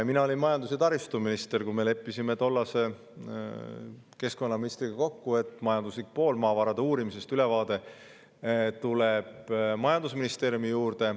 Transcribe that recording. Mina olin majandus‑ ja taristuminister, kui me leppisime tollase keskkonnaministriga kokku, et maavarade uurimise majanduslikust poolest tuleb ülevaade majandusministeeriumi.